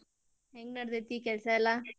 ಹೆಂಗ ನಡದೇತಿ ಕೆಲಸಾ ಎಲ್ಲಾ?